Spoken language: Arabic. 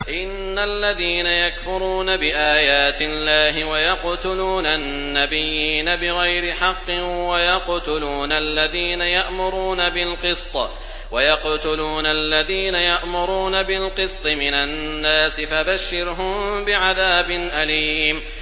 إِنَّ الَّذِينَ يَكْفُرُونَ بِآيَاتِ اللَّهِ وَيَقْتُلُونَ النَّبِيِّينَ بِغَيْرِ حَقٍّ وَيَقْتُلُونَ الَّذِينَ يَأْمُرُونَ بِالْقِسْطِ مِنَ النَّاسِ فَبَشِّرْهُم بِعَذَابٍ أَلِيمٍ